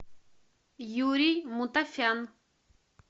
юрий мутафян